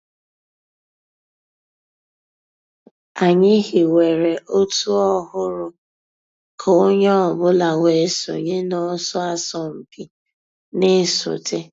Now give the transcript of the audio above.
Ànyị̀ hìwèrè ọ̀tù òhụ́rù kà ònyè ọ̀ bula wée sọǹyé n'ọ̀sọ̀ àsọ̀mpị̀ nà-èsọ̀té.